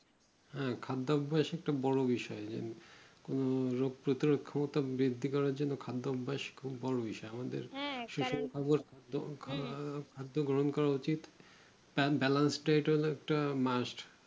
হ্যাঁ খাদ্য অভ্যাস একটা বড়ো বিষয় উহ রোগ প্রতিরোধের ক্ষমতাটাও বৃদ্ধি করার জন্য খাদ্য অভ্যাস খুব বড়ো বিষয় আমাদের খাদ্য গ্রহণ করা উচিত একটা Must